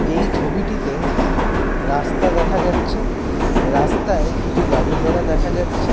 এই ছবিটিতে রাস্তা দেখা যাচ্ছে রাস্তায় কিছু গাড়ি-ঘোড়া দেখা যাচ্ছে।